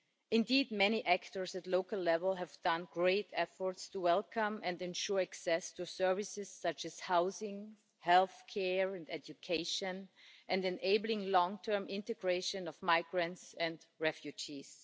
Indeed, many actors at local level have made great efforts to welcome and ensure access to services such as housing, healthcare and education and enabling long-term integration of migrants and refugees.